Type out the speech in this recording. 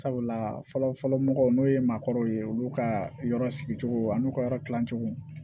Sabula fɔlɔ fɔlɔ mɔgɔw n'o ye maakɔrɔw ye olu ka yɔrɔ sigi cogo ani ka yɔrɔ kilan cogo